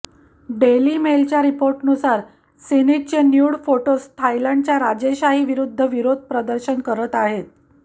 डेलीमेलच्या रिपोर्टनुसार सीनीतचे nude photos थायलँडच्या राजेशाही विरुद्ध विरोध प्रदर्शन करत आहेत